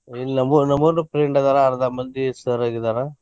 ಇಲ್ಲಿ ನಮ್ಮು ನಮಗುನು friend ಅದಾರ ಅರ್ದಾ ಮಂದಿ sir ಆಗಿದಾರ.